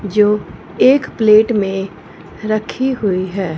जो एक प्लेट में रखी हुई है।